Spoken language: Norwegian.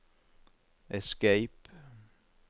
escape